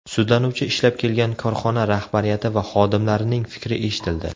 Sudlanuvchi ishlab kelgan korxona rahbariyati va xodimlarining fikri eshitildi.